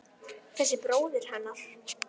Þessi bróðir hennar!